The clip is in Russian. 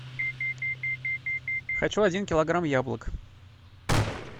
хочу один килограмм яблок